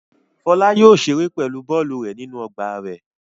Fọlá yóò ṣeré pẹ̀lú bọ́ọ́lù rẹ̀ nínú ọgbà rẹ̀.